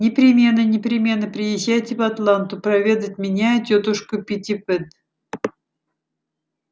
непременно непременно приезжайте в атланту проведать меня и тётушку питтипэт